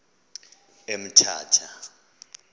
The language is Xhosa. emthatha